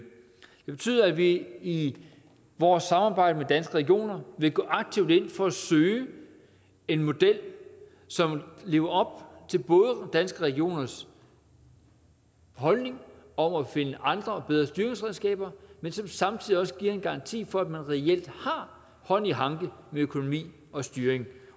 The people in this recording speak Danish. det betyder at vi i vores samarbejde med danske regioner vil gå aktivt ind for at søge en model som lever op til både danske regioners holdning om at finde andre og bedre styringsredskaber men som samtidig også giver en garanti for at man reelt har hånd i hanke med økonomi og styring